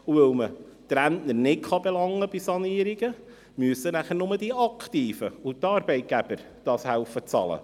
Weil man die Rentner bei Sanierungen nicht belangen kann, müssen dann nur die Aktiven und die Arbeitgeber helfen, dafür zu bezahlen.